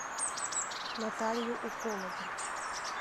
наталью уколову